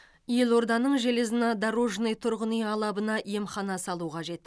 елорданың железнодорожный тұрғын үй алабына емхана салу қажет